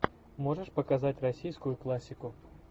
можешь показать российскую классику